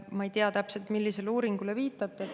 Ma ei tea täpselt, millisele uuringule te viitate.